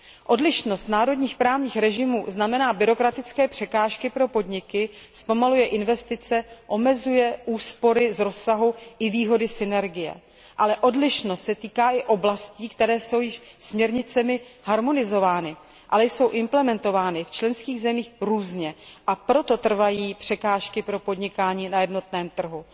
Odlišnost národních právních režimů znamená byrokratické překážky pro podniky, zpomaluje investice, omezuje úspory z rozsahu i výhody synergie, ale odlišnost se týká i oblastí, které jsou již směrnicemi harmonizovány, ale jsou implementovány v členských zemích různě a proto trvají překážky pro podnikání na jednotném trhu.